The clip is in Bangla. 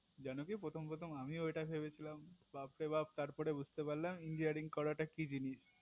জানো কি প্রথম প্রথম আমিও এটাই ভেবেছিলাম বাপরে বাপ্ তারপর বুজতে পারলাম engineering করাটা কি জিনিস